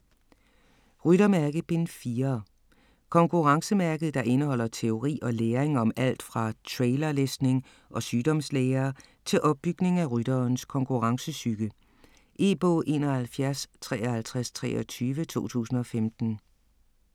Ryttermærke: Bind 4 Konkurrencemærket, der indeholder teori og læring om alt fra trailerlæsning og sygdomslære til opbygning af rytterens konkurrencepsyke. E-bog 715323 2015.